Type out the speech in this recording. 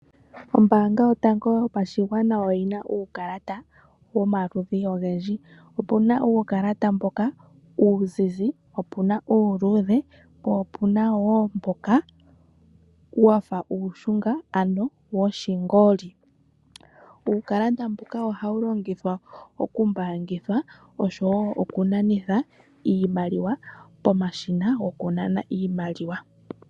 Ombaanga yotango yopashigwana oyina uukalata omaludhi ogendji. Opu na uukalata mboka uuzizi, opu na uuludhe po opu na wo mboka wafa uushunga ano woshingoli. Uukalata mbuka ohawu longithwa okumbaangithwa, oshowoo okunanithwa iimaliwa pomashina gokunana iimaliwa.